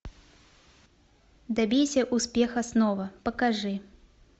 добейся успеха снова покажи